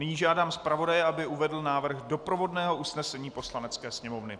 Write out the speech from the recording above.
Nyní žádám zpravodaje, aby uvedl návrh doprovodného usnesení Poslanecké sněmovny.